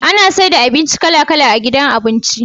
Ana saida abinci kala kala a gidan abinci